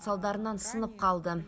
салдарынан сынып қалды